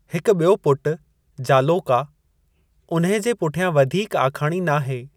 हिकु ॿियो पुटु, जालौका, उन्हे जे पुठियां वधीक आखाणी नाहे।